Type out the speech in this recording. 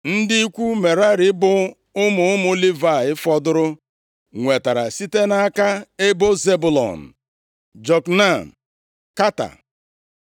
Ndị ikwu Merari, bụ ụmụ ụmụ Livayị fọdụrụ nwetara site nʼaka: Ebo Zebụlọn, Jokneam, Kata,